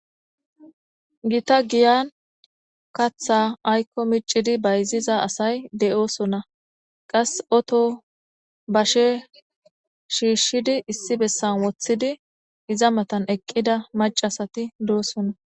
Gita giyan katha aykko micidi bayziza asay de'oosona qas oto bashe shiishshidi issi bessan woththidi iza matan eqqida macasati doosona.